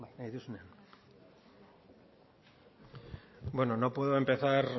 bueno no puedo empezar